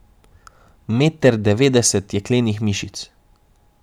Meter devetdeset jeklenih mišic.